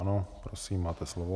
Ano, prosím, máte slovo.